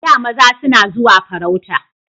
A da maza suna zuwa farauta